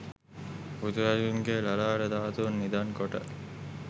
බුදුරදුන්ගේ ලලාට ධාතූන් නිධන් කොට